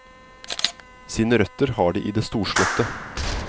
Sine røtter har de i det storslåtte.